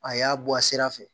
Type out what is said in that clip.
A y'a bɔ a sira fɛ